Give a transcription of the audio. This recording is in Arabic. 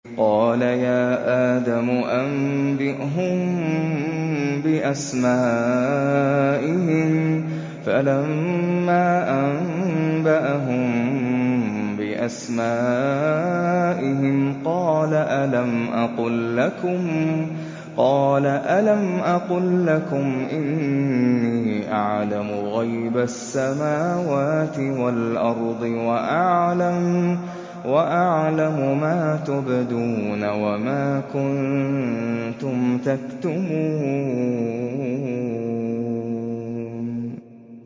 قَالَ يَا آدَمُ أَنبِئْهُم بِأَسْمَائِهِمْ ۖ فَلَمَّا أَنبَأَهُم بِأَسْمَائِهِمْ قَالَ أَلَمْ أَقُل لَّكُمْ إِنِّي أَعْلَمُ غَيْبَ السَّمَاوَاتِ وَالْأَرْضِ وَأَعْلَمُ مَا تُبْدُونَ وَمَا كُنتُمْ تَكْتُمُونَ